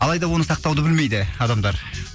алайда оны сақтауды білмейді адамдар